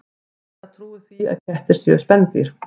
Sigga trúir því að kettir séu spendýr.